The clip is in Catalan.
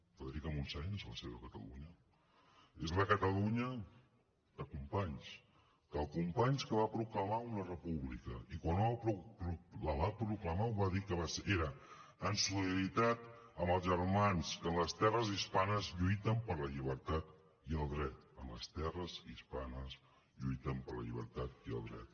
frederica montseny és la seva catalunya és la catalunya de companys del companys que va proclamar una república i quan la va proclamar va dir que era en solidaritat amb els germans que en les terres hispanes lluiten per la llibertat i el dret en les terres hispanes lluiten per la llibertat i el dret